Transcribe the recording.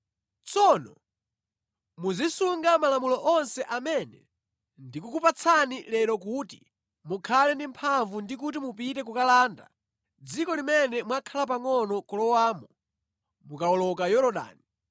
Tsono muzisunga malamulo onse amene ndikukupatsani lero kuti mukhale ndi mphamvu ndi kuti mupite kukalanda mʼdziko limene mwakhala pangʼono kulowamo mukawoloka Yorodani,